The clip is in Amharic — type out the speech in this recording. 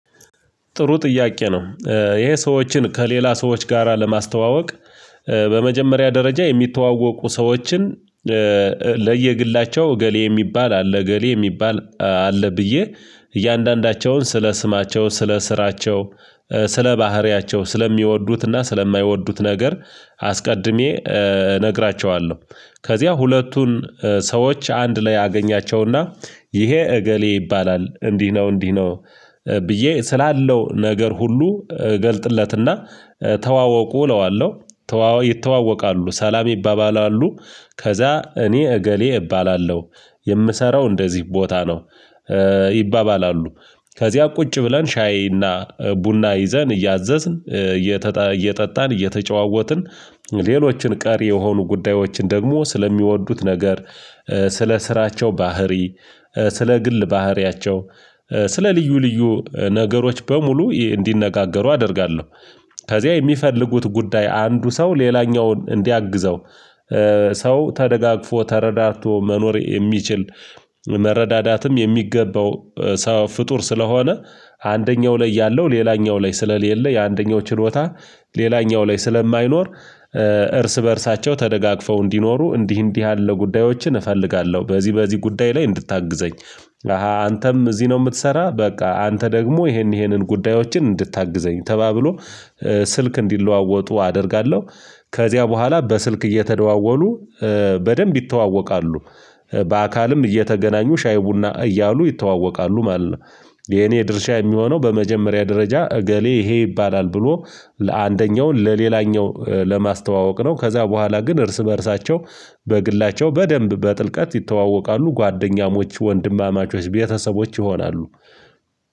ጥሩ ጥያቄ ነው ይሄ ሰዎችን ከሌላ ሰዎች ጋራ ለማስተዋወቅ። በመጀመሪያ ደረጃ የሚተዋወቁ ሰዎችን። ለየግላቸው እገሌ የሚባል አለ እገሌ የሚባል አለ ብዬ። እያንዳንዳቸውን ስለ ስማቸው ስለ ስራቸው ስለ ባህሪያቸው ስለሚወዱትና ስለማይወዱት ነገር አስቀድሜ እነግራቸዋለሁ። ከዚያ ሁለቱን ሰዎች አንድ ላይ አገኛቸውና ይሄ እገሌ ይባላል እንዲህ ነው እንዲህ ነው። ብዬ ስላለው ነገር ሁሉ እገልጥለትና ተዋወቁ እለዋለሁ። ይተዋወቃሉ ሰላም ይባባላሉ ከዛ እኔ እገሌ እባላለሁ የምሰራው እንደዚህ ቦታ ነው። ይባባላሉ ከዚያ ቁጭ ብለን ሻይና ቡና ይዘን እያዘዝን እየጠጣን እየተጨዋወትን። ሌሎችን ቀሪ የሆኑ ጉዳዮችን ደግሞ ስለሚወዱት ነገር ስለ ስራቸው ባህሪ ስለ ግል ባህሪያቸው ስለ ልዩ ልዩ ነገሮች በሙሉ እንዲነጋገሩ አደርጋለሁ። ከዚያ የሚፈልጉት ጉዳይ አንዱ ሰው ሌላኛውን እንዲያግዘው። ሰው ተደጋግፎ ተረዳድቶ መኖር የሚችል መረዳዳትም የሚገባው ፍጡር ስለሆነ። አንደኛው ላይ ያለው ሌላኛው ላይ ስለሌለ የአንደኛው ችሎታ ሌላኛው ላይ ስለማይኖር። እርስ በእርሳቸው ተደጋግፈው እንዲኖሩ እንዲህ እንዲህ ያለ ጉዳዮችን እፈልጋለሁ በዚህ በዚህ ጉዳይ ላይ እንድታግዘኝ። አንተም እዚህ ነው የምትሰራ በቃ አንተ ደግሞ ይሄን ይሄንን ጉዳዮችን እንድታግዘኝ ተባብሎ ስልክ እንዲለዋወጡ አደርጋለሁ። ከዚያ በኋላ በስልክ እየተደዋወሉ በደንብ ይተዋወቃሉ። በአካልም እየተገናኙ ሻይ ቡና እያሉ ይተዋወቃሉ ማለት ነው። የኔ ድርሻ የሚሆነው በመጀመሪያ ደረጃ እገሌ ይሄ ይባላል ብሎ ለአንደኛው ለሌላኛው ለማስተዋወቅ ነው። ከዛ በኋላ ግን እርስ በእርሳቸው በግላቸው በደንብ በጥልቀት ይተዋወቃሉ ጓደኛሞች ወንድማማቾች ቤተሰቦች ይሆናሉ።